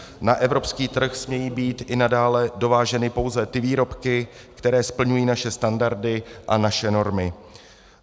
Na evropský trh smějí být i nadále dováženy pouze ty výrobky, které splňují naše standardy a naše normy.